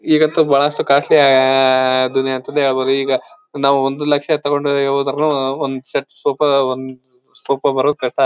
ಈಗಂತೂ ಬಹಳಷ್ಟು ಕಾಸ್ಟ್ಲಿ ದುನಿಯಾ ಅಂತಾನೆ ಹೇಳ್ಬಹುದು ಈಗ ನಾವು ಒಂದು ಲಕ್ಷ ತಗೊಂಡ್ರೆ ಹೊದ್ರುನು ಒಂದ್ ಸೆಟ್ ಸೋಫಾ ಒಂದ್ ಬರೋದ್ ಕಷ್ಟ .